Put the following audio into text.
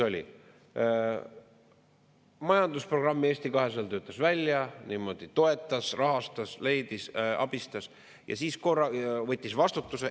Joakim Helenius töötas välja Eesti 200 majandusprogrammi, toetas, rahastas, leidis, abistas, võttis vastutuse.